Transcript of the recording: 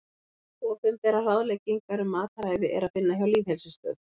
Opinberar ráðleggingar um mataræði er að finna hjá Lýðheilsustöð.